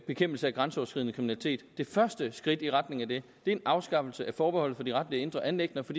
bekæmpelse af grænseoverskridende kriminalitet det første skridt i retning af det er en afskaffelse af forbeholdet for de retlige indre anliggender for